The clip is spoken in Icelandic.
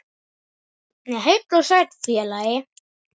Nei, heill og sæll félagi!